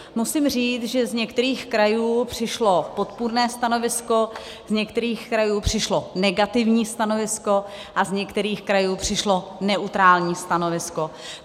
Musím říct, že z některých krajů přišlo podpůrné stanovisko, z některých krajů přišlo negativní stanovisko a z některých krajů přišlo neutrální stanovisko.